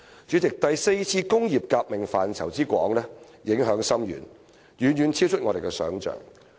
主席，第四次工業革命範圍之廣、影響之深，遠遠超出我們的想象。